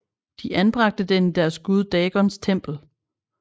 De anbragte den i deres gud Dagons tempel